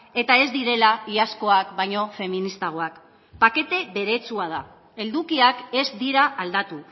eta ez direla iazkoak baino feministagoak pakete beretsua da edukiak ez dira aldatu